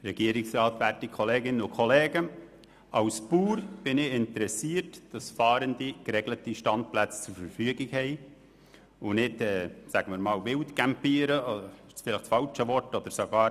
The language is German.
Als Bauer bin ich daran interessiert, dass Fahrende geregelte Standplätze zur Verfügung haben und nicht – das ist vielleicht das falsche Wort – wild oder sehr wild campieren.